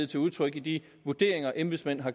til udtryk i de vurderinger embedsmænd har